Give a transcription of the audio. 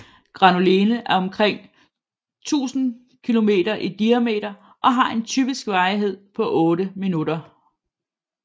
Granulene er omkring 1000 km i diameter og har en typisk varighed på 8 minutter